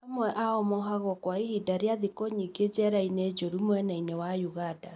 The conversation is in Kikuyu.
Amwe ao mohagwo kwa ihinda rĩa thikũ nyingĩ njera-inĩ njũru mwena-inĩ wa ũganda.